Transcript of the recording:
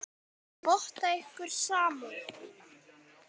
Ég votta ykkur samúð mína.